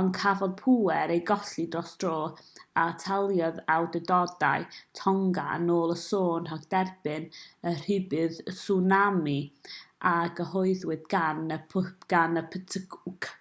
ond cafodd pŵer ei golli dros dro a ataliodd awdurdodau tonga yn ôl y sôn rhag derbyn y rhybudd tswnami a gyhoeddwyd gan y ptwc